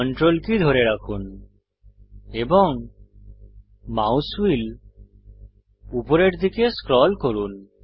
Ctrl কী ধরে রাখুন এবং মাউস হুইল উপরের দিকে স্ক্রল করুন